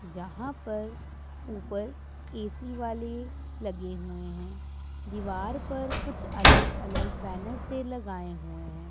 जहां पर उपर ए_सी वाले लगे हुए है दीवार पर कुछ अलग अलग बैनर से लगाए हुए है।